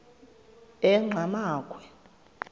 enqgamakhwe